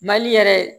Mali yɛrɛ